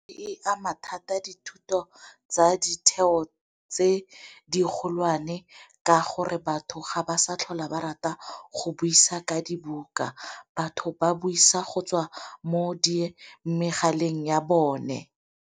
Di ama thata dithuto tsa ditheo tse di kgolwane, ka gore batho ga ba sa tlhola ba rata go buisa ka dibuka batho ba buisa go tswa mo megaleng ya bone.